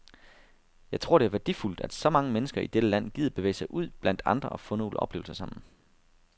Jeg tror, det er værdifuldt, at så mange mennesker i dette land gider bevæge sig ud blandt andre og få nogle oplevelser sammen.